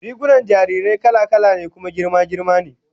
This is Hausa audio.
Rigunan jarirai kala-kala ne kuma girma girma ne